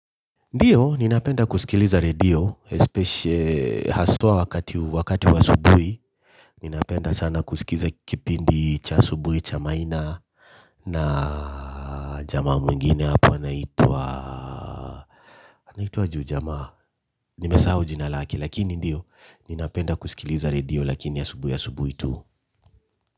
Ndiyo, ninapenda kusikiliza redio, haswa wakati wa asubuhi. Ninapenda sana kusikiza kipindi cha asubuhi, cha maina, na jamaa mwingine hapo anaitwa, anaitwaje huu jamaa? Nimesahau jina lake lakini ndiyo, ninapenda kusikiliza redio lakini asubuhi asubuhi tu.